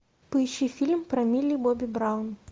поищи фильм про милли бобби браун